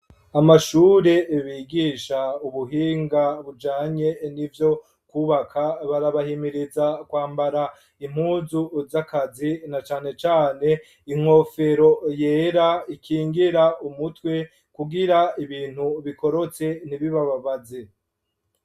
Amashure bigisha ubuhinga bujanye n'ivyo kubaka barabahimiriza kwambara impuzu z'akazi na canecane inkofero yera ikingira umutwe kugira ibintu bikorotse ntibibababaze.